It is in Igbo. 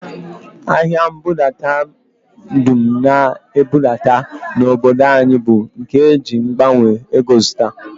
Ahịa mbudadata dum a na-ebubata n'obodo anyị bụ nke e ji mgbanwe ego zụta